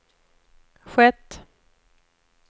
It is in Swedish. skett